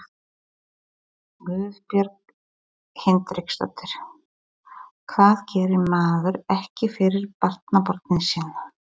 Guðbjörg Hinriksdóttir: Hvað gerir maður ekki fyrir barnabörnin sín?